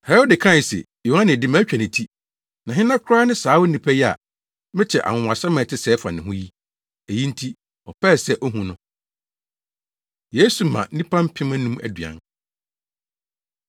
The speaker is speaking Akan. Herode kae se, “Yohane de, matwa ne ti, na hena koraa ne saa onipa yi a mete anwonwasɛm a ɛte sɛɛ fa ne ho yi?” Eyi nti ɔpɛɛ sɛ ohu no. Yesu Ma Nnipa Mpem Anum Aduan